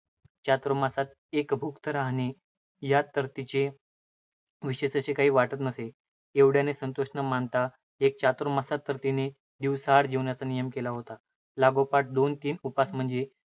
चातुमांस्यात एकभुक्त राहणे यात तर तिला विशेषसं काही वाटतच नसे. एवढ्याने संतोष न मानता एका चातुर्मास्यात तर तिने एक दिवसाआड जेवण्याचा नियम केला होता. लागोपाठ दोन तीन उपास म्हणजे